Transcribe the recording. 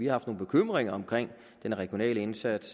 haft nogle bekymringer om den regionale indsats